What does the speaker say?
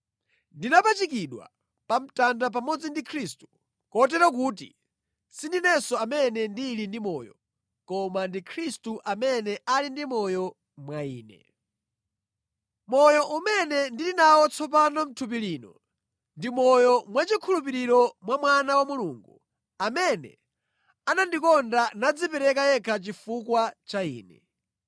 Ndinapachikidwa pa mtanda pamodzi ndi Khristu, kotero kuti sindinenso amene ndili ndi moyo, koma ndi Khristu amene ali ndi moyo mwa ine. Moyo umene ndili nawo tsopano mʼthupi lino, ndi moyo mwachikhulupiriro mwa Mwana wa Mulungu, amene anandikonda nadzipereka yekha chifukwa cha ine.